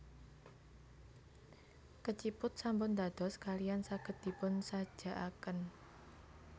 Keciput sampun dados kalihan saged dipunsajakaken